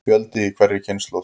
Fjöldi í hverri kynslóð.